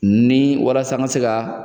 Ni walasa n ka se ka